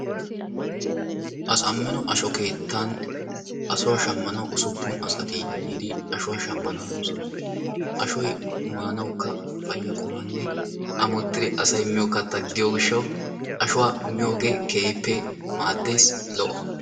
Asamino asho keettan ashuwa shammanawu usuppun asati yiidi ashuwa shammanawu hanoosona. Ashoy maanawukka payya qummanne ammottidi asay miyo katta gidiyo gishshawu ashuwa miyogee maddees keehippe lo'o.